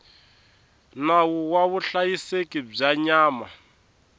nawu wa vuhlayiseki bya nyama